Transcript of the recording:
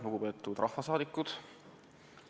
Lugupeetud rahvasaadikud!